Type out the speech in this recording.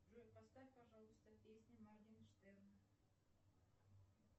джой поставь пожалуйста песни моргенштерна